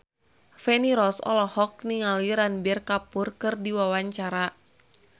Feni Rose olohok ningali Ranbir Kapoor keur diwawancara